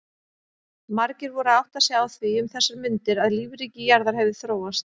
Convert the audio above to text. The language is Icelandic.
Margir voru að átta sig á því um þessar mundir að lífríki jarðar hefði þróast.